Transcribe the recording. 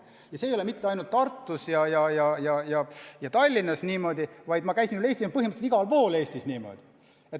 Ja see ei ole mitte ainult Tartus ja Tallinnas niimoodi, see on põhimõtteliselt igal pool Eestis niimoodi.